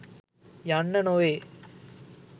යන්න නොවේ.